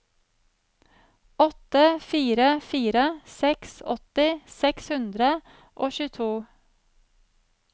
åtte fire fire seks åtti seks hundre og tjueto